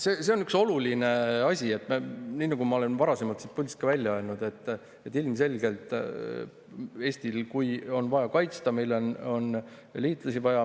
See on üks oluline asi, nii nagu ma olen varasemalt siit puldist välja öelnud, et ilmselgelt on Eestil, kui on vaja riiki kaitsta, vaja liitlasi.